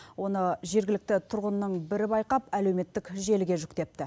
оны жергілікті тұрғынның бірі байқап әлеуметтік желіге жүктепті